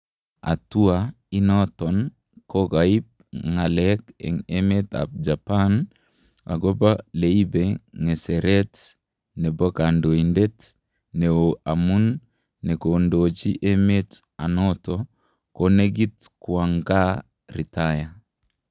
Hatua inaton kokaip ngalek en emet ap japan agopa leipe ngeseret nepo kandoitet neo amun nekondoji emet anato konekit kwang kaa retire